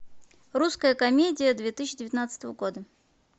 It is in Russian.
русская комедия две тысячи девятнадцатого года